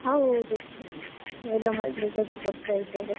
ಹೌದು. ಎಲ್ಲ ಮಕ್ಳಿಗೆ ಅದು ಕೊಡ್ತಾ ಇದ್ದಾರೆ.